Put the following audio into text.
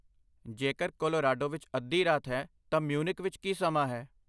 ਜੇਕਰ ਕੋਲੋਰਾਡੋ ਵਿੱਚ ਅੱਧੀ ਰਾਤ ਹੈ ਤਾਂ ਮਿਊਨਿਖ ਵਿੱਚ ਕੀ ਸਮਾਂ ਹੈ ?